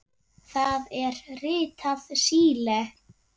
Það er ritað Síle.